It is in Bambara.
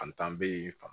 Fantan be fa